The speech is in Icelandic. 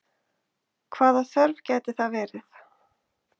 Hvaða þörf gæti það verið?